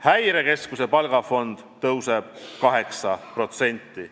Häirekeskuse palgafond kasvab 8%.